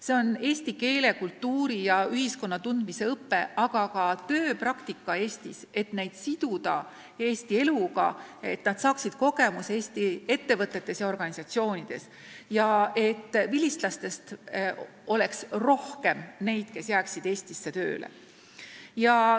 See on eesti keele, kultuuri ja ühiskonna tundmise õpe, aga ka tööpraktika Eestis, et siduda neid tudengeid Eesti eluga, et nad saaksid kogemuse Eesti ettevõtetes ja organisatsioonides ning et vilistlaste hulgas oleks rohkem neid, kes jäävad Eestisse tööle.